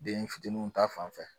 Den fitininw ta fan fɛ